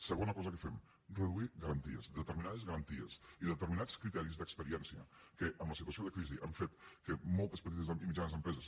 segona cosa que fem reduir garanties determinades garanties i determinats criteris d’experiència que la situació de crisi ha fet que moltes petites i mitjanes empreses